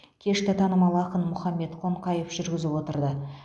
кешті танымал ақын мұхаммед қонқаев жүргізіп отырды